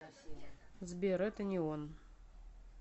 сбер это не он